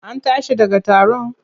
An tashi daga taron?